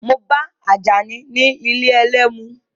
Mo ba Àjàní ní ilé ẹlẹ́mu.